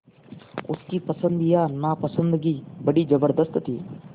उसकी पसंद या नापसंदगी बड़ी ज़बरदस्त थी